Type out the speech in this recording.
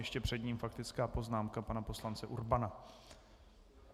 Ještě před ním faktická poznámka pana poslance Urbana.